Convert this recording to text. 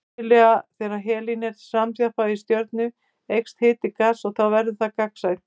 Venjulega þegar helín er samþjappað í stjörnu eykst hiti gassins og þá verður það gagnsætt.